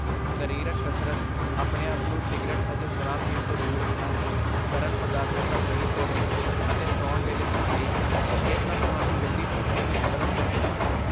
ਸਰੀਰਕ ਕਸਰਤ, ਆਪਣੇ ਆਪ ਨੂੰ ਸਿਗਰਟ ਅਤੇ ਸ਼ਰਾਬ ਪੀਣ ਤੋਂ ਦੂਰ ਰੱਖਣਾ, ਤਰਲ ਪਦਾਰਥਾਂ ਦਾ ਸਹੀ ਸੇਵਨ ਅਤੇ ਸੌਣ ਵੇਲੇ ਸਫ਼ਾਈ, ਇਹ ਸਭ ਤੁਹਾਨੂੰ ਜਲਦੀ ਠੀਕ ਹੋਣ ਵਿੱਚ ਮਦਦ ਕਰਦੇ ਹਨ।